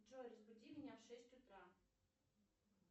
джой разбуди меня в шесть утра